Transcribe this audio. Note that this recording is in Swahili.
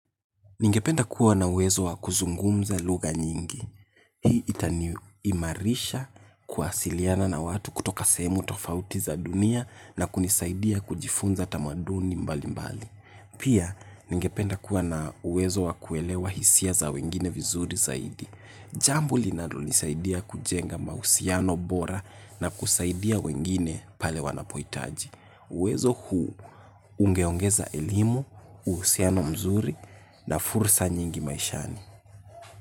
Ningependa kuwa na uwezo wakuzungumza lugha nyingi. Hii itaniimarisha, kuwasiliana na watu kutoka sehemu tofauti za dunia na kunisaidia kujifunza tamaduni mbali mbali. Pia, ningependa kuwa na uwezo wakuelewa hisia za wengine vizuri zaidi. Jambo linalonisaidia kujenga mahusiano bora na kusaidia wengine pale wanapohitaji. Uwezo huu ungeongeza elimu, uhusiano mzuri na fursa nyingi maishani.